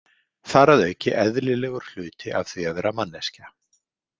Þar að auki eðlilegur hluti af því að vera manneskja.